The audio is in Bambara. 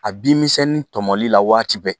A binmisɛnnin tɔmɔli la waati bɛɛ